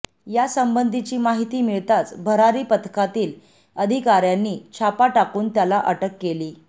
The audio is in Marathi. या संबंधीची माहिती मिळताच भरारी पथकातील अधिकाऱयांनी छापा टाकून त्याला अटक केली